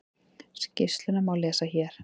Skýrsluna má lesa hér